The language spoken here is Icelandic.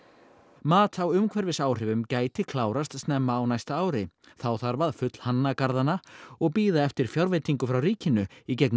mat á umhverfisáhrifum gæti klárast snemma á næsta ári þá þarf að fullhanna garðana og bíða eftir fjárveitingu frá ríkinu í gegnum